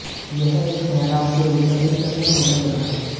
यह एक मेहराब के रूप में एक तत्व माना जाता है